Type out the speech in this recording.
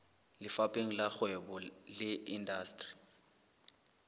lefapheng la kgwebo le indasteri